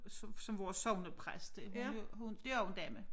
Så som vores sognepræst det hun er jo hun det også en dame